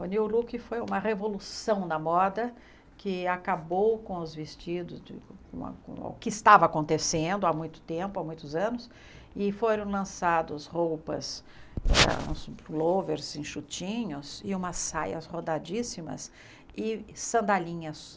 O New Look foi uma revolução da moda que acabou com os vestidos de uma uma, com o que estava acontecendo há muito tempo, há muitos anos, e foram lançados roupas, uns pulôvers enxutinhos e umas saias rodadíssimas e sandalinhas.